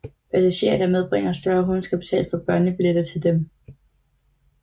Passagerer der medbringer større hunde skal betale for børnebilletter til dem